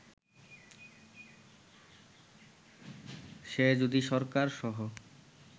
সে যদি সরকার সহ